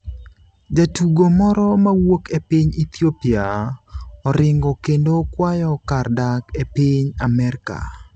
Jatugo moro mawuok e piny Ethiopia oringo kendo kwayo kar dak e piny Amerka